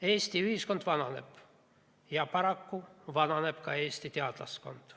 Eesti ühiskond vananeb ja paraku vananeb ka Eesti teadlaskond.